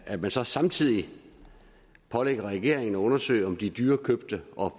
at man så samtidig pålægger regeringen at undersøge om de dyrekøbte og